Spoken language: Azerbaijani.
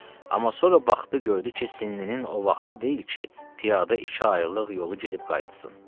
Amma sonra baxdı gördü ki, sinnninin o vaxtı deyil ki, piyadə iki aylıq yolu gedib qayıtsın.